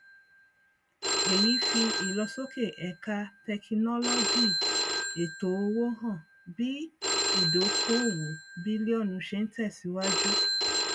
èyí fi ìlọsókè ẹka tẹkinọlọgìètòowó hàn bí ìdókóòwò bìlíọnù ṣe ń tèsíwájú